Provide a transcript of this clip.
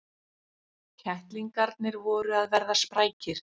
Kettlingarnir voru að verða sprækir.